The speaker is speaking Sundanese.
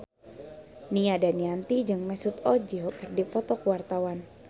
Nia Daniati jeung Mesut Ozil keur dipoto ku wartawan